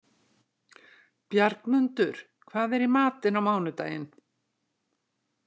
Bjargmundur, hvað er í matinn á mánudaginn?